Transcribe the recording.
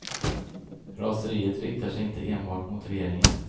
Raseriet riktar sig inte enbart mot regeringen.